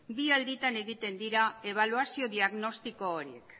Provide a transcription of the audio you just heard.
bi alditan egiten dira ebaluazio diagnostiko horiek